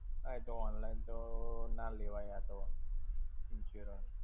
હા એતો online તો ના લેવાય આ તો, insurance